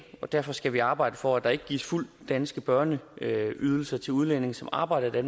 derfor skal vi arbejde for at der ikke gives fuld dansk børneydelse til udlændinge som arbejder i